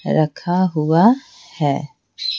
रखा हुआ है ।